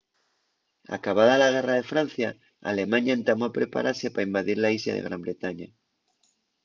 acabada la guerra de francia alemaña entamó a preparase pa invadir la islla de gran bretaña